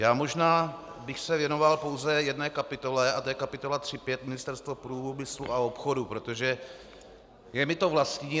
Já možná bych se věnoval pouze jedné kapitole a to je kapitola 3.5 Ministerstvo průmyslu a obchodu, protože je mi to vlastní.